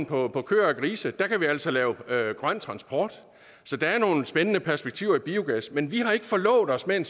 på køer og grise kan vi altså lave lave grøn transport så der er nogle spændende perspektiver i biogas men vi har ikke forlovet os med en